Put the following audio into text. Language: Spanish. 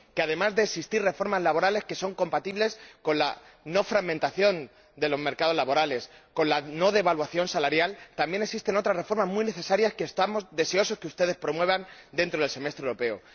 Que, además de existir reformas laborales que son compatibles con la no fragmentación de los mercados laborales y con la no devaluación salarial, también existen otras reformas muy necesarias, que estamos deseosos de que ustedes promuevan dentro del Semestre Europeo